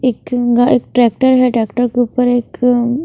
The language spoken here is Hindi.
एक एक ट्रैक्टर है ट्रैक्टर के ऊपर एक उम्म --